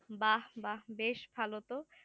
বাহ্ বাহ্ বেশ ভালো তো